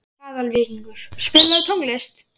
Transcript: Aðalvíkingur, spilaðu tónlist.